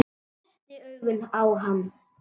Hvessti augun á hann.